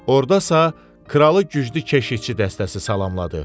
Ordasa kralı güclü keşiyçi dəstəsi salamladı.